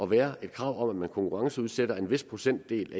være et krav om at man konkurrenceudsætter en vis procentdel af